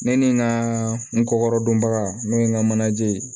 Ne ni n ka n kɔkɔrɔdonba n'o ye n ka manaje ye